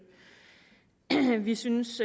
vi synes